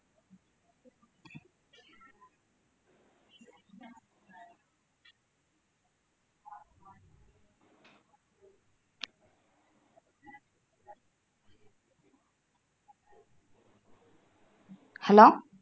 hello